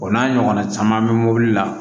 O n'a ɲɔgɔnna caman bɛ mobili la